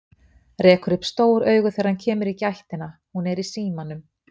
Rekur upp stór augu þegar hann kemur í gættina, hún er í símanum.